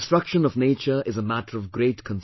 Destruction of nature is a matter of great concern